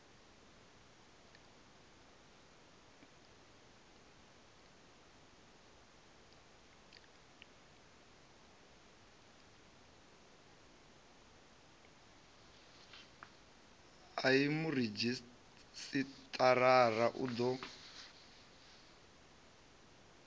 a ii muredzhisitarara u ḓo